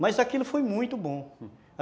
Mas aquilo foi muito bom.